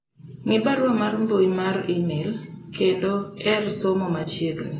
ng'i barua mar mbui mar email kendo ere somo ma chiegni